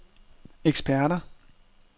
eksperter